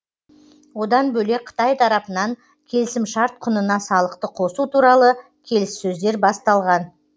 одан бөлек қытай тарапынан келісімшарт құнына салықты қосу туралы келіссөздер басталған